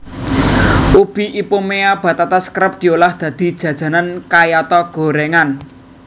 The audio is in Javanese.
Ubi Ipomoea batatas kerep diolah dadi jajanan kayata goréngan